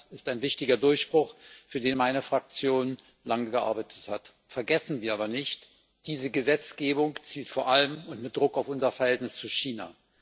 Das ist ein wichtiger Durchbruch, für den meine Fraktion lange gearbeitet hat. Vergessen wir aber nicht Diese Gesetzgebung zielt vor allem und mit Druck auf unser Verhältnis zu China.